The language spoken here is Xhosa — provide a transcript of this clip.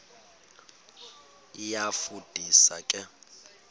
iyafu ndisa ke